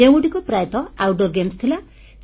ଯେଉଁଗୁଡ଼ିକ ପ୍ରାୟତଃ outdoor games ଥିଲା